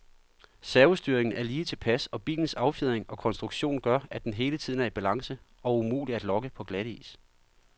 Servostyringen er lige tilpas, og bilens affjedring og konstruktion gør, at den hele tiden er i balance og umulig at lokke på glatis.